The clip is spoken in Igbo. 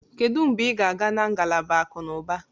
Kedu mgbe ị ga-aga na ngalaba akụ na ụba?